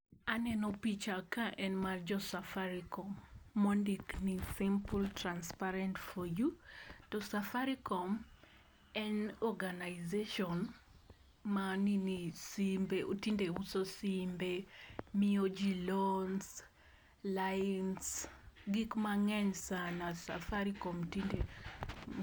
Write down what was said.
Aneno picha ka en mar jo safarikom mondik ni simple, transparent for you . To safarikom en organization ma nini simbe ,tinde uso simbe miyo jii loans lines gik mang'eny sana safafikom tinde